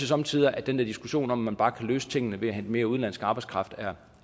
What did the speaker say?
somme tider at den der diskussion om at man bare kan løse tingene ved at hente mere udenlandsk arbejdskraft er